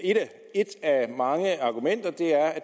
et af mange argumenter